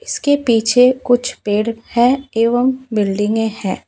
इसके पीछे कुछ पेड़ है एवं बिल्डिंगे है।